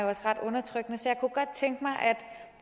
også ret undertrykkende så jeg kunne godt tænke mig at